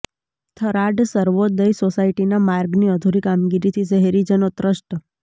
થરાદ સર્વોદય સોસાયટીના માર્ગની અધુરી કામગીરીથી શહેરીજનો ત્રસ્ત